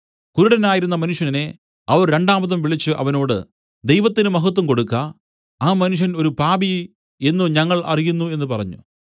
കുരുടനായിരുന്ന മനുഷ്യനെ അവർ രണ്ടാമതും വിളിച്ചു അവനോട് ദൈവത്തിന് മഹത്വം കൊടുക്ക ആ മനുഷ്യൻ ഒരു പാപി എന്നു ഞങ്ങൾ അറിയുന്നു എന്നു പറഞ്ഞു